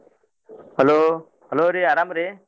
Hello hello ರೀ ಅರಾಮ್ರೀ?